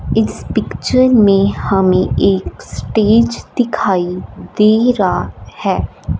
इस पिक्चर में हमें एक स्टेज दिखाई दे रहा है।